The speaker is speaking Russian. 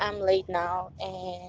онлайн